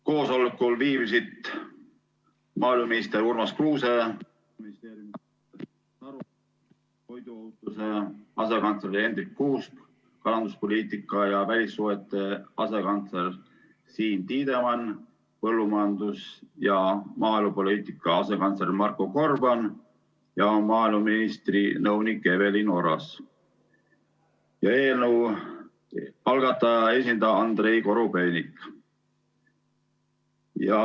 Koosolekul viibisid maaeluminister Urmas Kruuse, toiduohutuse asekantsler Hendrik Kuusk, kalanduspoliitika ja välissuhete asekantsler Siim Tiidemann, põllumajandus- ja maaelupoliitika asekantsler Marko Gorban ja maaeluministri nõunik Evelin Oras ning eelnõu algataja esindaja Andrei Korobeinik.